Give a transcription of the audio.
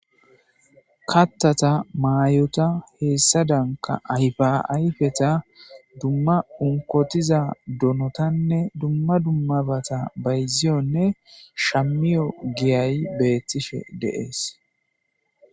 Kaththata mayota hessadankka ayfa ayfeta dumma unkkotiza donotanne dumma dumma baata bayziyoone shamiyo giyayi beetishe de7ees.